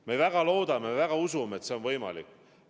Me väga loodame ja usume, et see on võimalik.